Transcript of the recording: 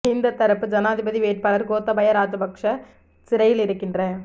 மஹிந்த தரப்பு ஜனாதிபதி வேட்பாளர் கோத்தபாய ராஜபக்ஷ சிறையில் இருக்கின்ற